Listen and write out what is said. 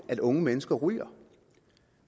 at unge mennesker ryger